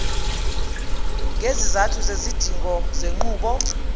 ngezizathu zezidingo zenqubo